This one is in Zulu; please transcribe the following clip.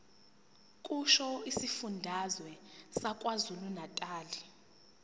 kusho isifundazwe sakwazulunatali